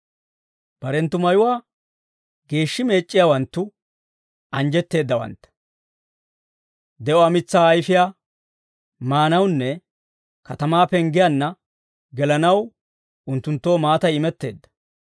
Barenttu mayuwaa geeshshi meec'c'iyaawanttu anjjetteeddawantta. De'uwaa mitsaa ayfiyaa maanawunne katamaa penggiyaanna gelanaw unttunttoo maatay imetteedda.